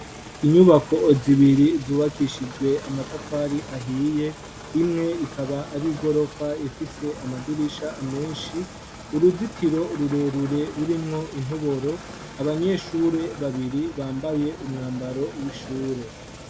Inyubako zibiri zubakishijwe amatafari ahiye imwe ikaba ari igorofa ifise amadirisha menshi uruzitiro rurerure rurimwo intoboro, abanyeshure babiri bambaye umwambaro w'ishure.